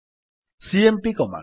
CMP command